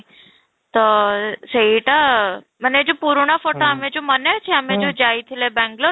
ତ ସେଇଟା ମାନେ ଯଉ ପୁରୁଣା photo ଆମେ ଯଉ ମାନେ ଅଛି ଆମେ ଯଉ ଯାଇଥିଲେ ବେଙ୍ଗାଲୁରୁ